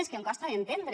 és que em costa d’entendre